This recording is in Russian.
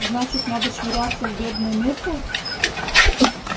значит надо швыряться в бедную миртл